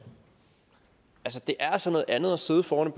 det er altså noget andet at sidde foran